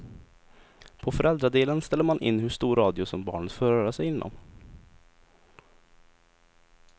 På föräldradelen ställer man in hur stor radie som barnet får röra sig inom.